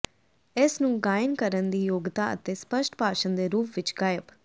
ਇਸ ਨੂੰ ਗਾਇਨ ਕਰਨ ਦੀ ਯੋਗਤਾ ਅਤੇ ਸਪੱਸ਼ਟ ਭਾਸ਼ਣ ਦੇ ਰੂਪ ਵਿੱਚ ਗਾਇਬ